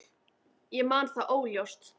Ég man þetta óljóst.